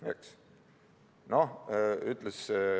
See on ju nonsenss.